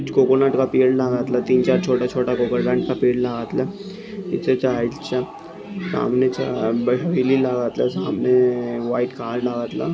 coconut का पेड़ घातला तीन-चार कोकोनट का पेड़ घातला सामने व्हाइट कार्ड --